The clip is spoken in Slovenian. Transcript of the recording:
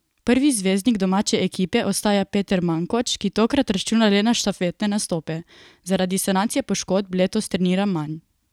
Prvi zvezdnik domače ekipe ostaja Peter Mankoč, ki tokrat računa le na štafetne nastope: "Zaradi sanacije poškodb letos treniram manj.